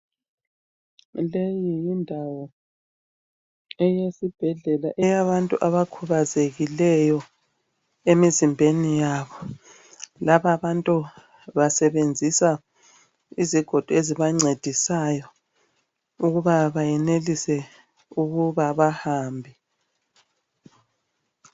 Leyi yindawo eyesibhedlela eyabantu abakhubazekileyo, emizimbeni yabo. Lababantu basebenzisa izigodo ezibancedisayo ukuba bayenelise ukuba bahambe.